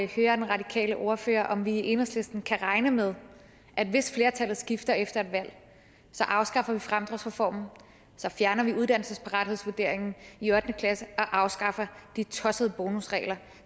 høre den radikale ordfører om enhedslisten kan regne med at hvis flertallet skifter efter et valg så afskaffer vi fremdriftsreformen så fjerner vi uddannelsesparathedsvurderingen i ottende klasse og afskaffer de tossede bonusregler